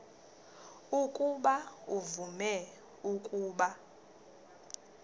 ukuba uvume ukuba